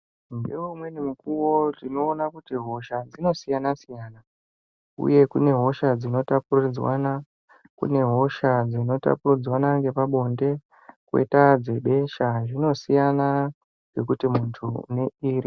Ngeu mweni mukuvo tinoona kuti hosha dzinosiyana-siyana, uye kune hosha dzinota puridzwana kune hosha dzinota puridzwanwa ngepa bonde koita dzebesha zvinosiyana, ngekuti muntu une iri.